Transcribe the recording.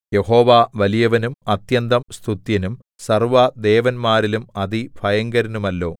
യഹോവ വലിയവനും അത്യന്തം സ്തുത്യനും സർവ്വദേവന്മാരിലും അതിഭയങ്കരനുമല്ലോ